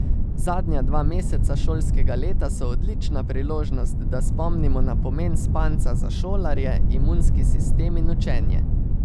Zadnja dva meseca šolskega leta so odlična priložnost, da spomnimo na pomen spanca za šolarje, imunski sistem in učenje.